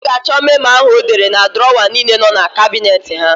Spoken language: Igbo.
Ọ ga-achọ memo áhụ̀ ọ dere na drọwa niile nọ na kabinet ha.